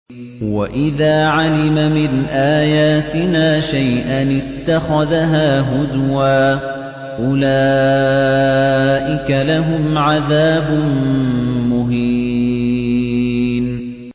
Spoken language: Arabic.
وَإِذَا عَلِمَ مِنْ آيَاتِنَا شَيْئًا اتَّخَذَهَا هُزُوًا ۚ أُولَٰئِكَ لَهُمْ عَذَابٌ مُّهِينٌ